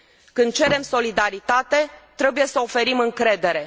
Când cerem solidaritate, trebuie să oferim încredere.